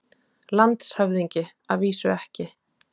LANDSHÖFÐINGI: Að vísu ekki.